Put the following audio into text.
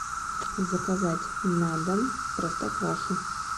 заказать на дом простоквашу